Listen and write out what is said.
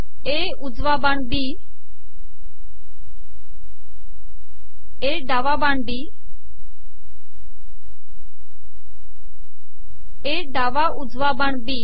ए उजवा बाण B A डावा बाण बी ए डावा उजवा बाण बी